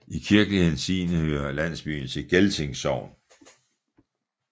I kirkelig henseende hører landsbyen til Gelting Sogn